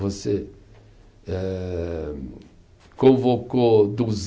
Você eh, convocou